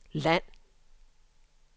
land